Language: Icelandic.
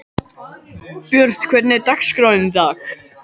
Björt, hvernig er dagskráin í dag?